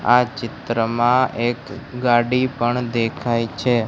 આ ચિત્રમાં એક ગાડી પણ દેખાય છે.